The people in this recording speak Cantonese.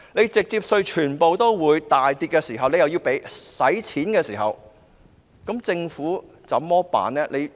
當直接稅收入全部大跌的時候，但又要用錢，政府該怎麼辦呢？